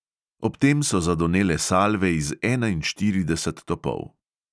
Ob tem so zadonele salve iz enainštirideset topov.